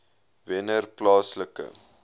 wennerplaaslike